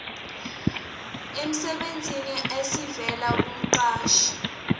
emsebenzini esivela kumqashi